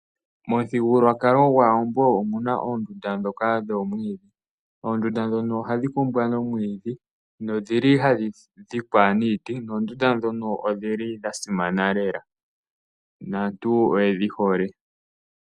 Mothigululwakalo gwAawambo omuna ondundu dhoka dhomwidhi , oondunda dhono ohadhi kumbwa nomwidhi nondhili hadh idhikwa niiti nondunda dhono odhili dha simana lela naantu oyedhi hole.